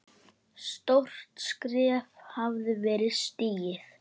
Stórt skref hafði verið stigið.